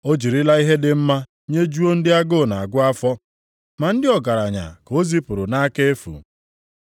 O jirila ihe dị mma nyejuo ndị agụụ na-agụ afọ ma ndị ọgaranya ka o zipụrụ nʼaka efu.